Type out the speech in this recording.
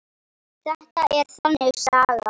Þetta er þannig saga.